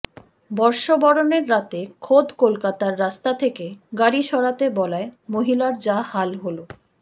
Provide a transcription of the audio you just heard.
বর্ষবরণের রাতে খোদ কলকাতার রাস্তা থেকে গাড়ি সরাতে বলায় মহিলার যা হাল হল